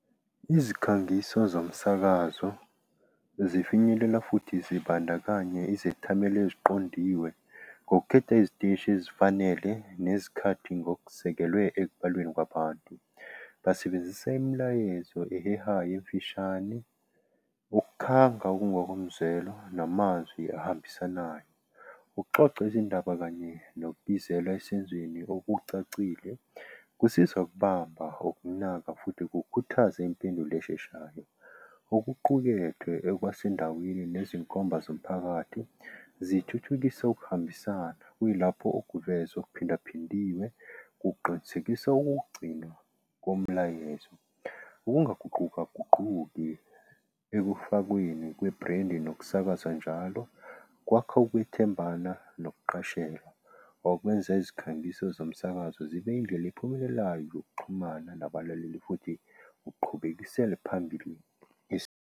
Izikhangiso zomsakazo zifinyelela futhi zibandakanye izethameli eziqondiwe ngokukhetha iziteshi ezifanele nezikhathi ngokuzekelwe ekubalweni kwabantu. Basebenzise imilayezo ehehayo emfishane. Ukukhanga ukungokomzwelo namazwi ahambisanayo. Ukuxoxa izindaba kanye nokubizelwa esenzweni okucacile kusizwa ukubamba okunaka futhi kukhuthaze impendulo esheshayo okuqukethwe ekwasendaweni nezinkomba zomphakathi zithuthukise ukuhambisana. Kuyilapho okuvezwa okuphindaphindiwe kuqinisekisa ukugcinwa komlayezo. Ukungaguqukaguquki ekufakweni kwebhrendi nokusakazwa njalo. Kwakha ukwethembana nokuqashelwa okwenze izikhangiso zomsakazo zibe indlela ephumelelayo yokuxhumana nabalaleli futhi ukuqhubekela phambili .